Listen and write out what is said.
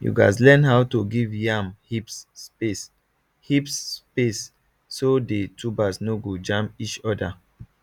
you gatz learn how to give yam heaps space heaps space so the tubers no go jam each other